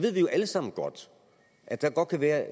alle sammen godt at der godt kan være